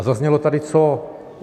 A zaznělo tady co?